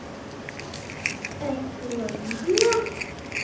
Ert þú að vinna?